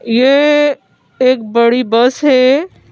ये अ एक बड़ी बस है।